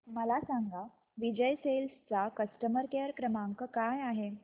मला सांगा विजय सेल्स चा कस्टमर केअर क्रमांक काय आहे